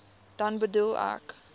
dan bedoel ek